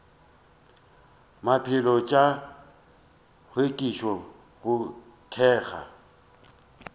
maphelo tša hlwekišo go thekga